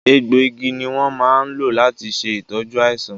egbò igi ni won máa ń lò láti ṣe ìtọ́jú àìsàn